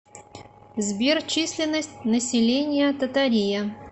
сбер численность населения татария